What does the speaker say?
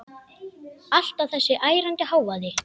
Alltaf þessi ærandi hávaði.